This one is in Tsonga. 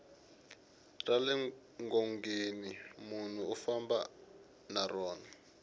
rale ngongeni nmunhu u famba na rona